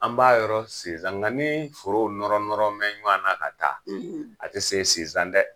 An b'a yɔrɔ sizan .Nga ni forow nɔrɔ nɔrɔ bɛ ɲɔn na ka taa, a ti se sinzan dɛ!